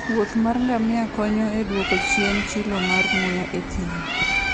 wuoth mar ngamia konyo e duoko chien chilo mar muya e thim.